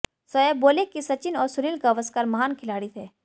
शोएब बोले कि सचिन और सुनील गावस्कर महान खिलाड़ी थे